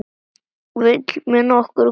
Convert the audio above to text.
Vill mér nokkur götu greiða?